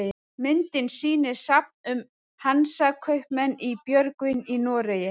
Myndin sýnir safn um Hansakaupmenn í Björgvin í Noregi.